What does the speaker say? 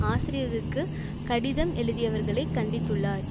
ஆசிரியருக்கு கடிதம் எழுதியவர்களை கண்டித்துள்ளார்